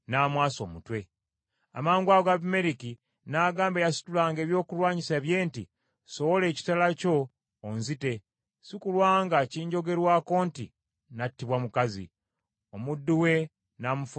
Amangwago Abimereki n’agamba eyasitulanga ebyokulwanyisa bye nti, “Sowola ekitala kyo onzite, si kulwa nga kinjogerwako nti nattibwa mukazi.” Omuddu we n’amufumita ekitala n’afa.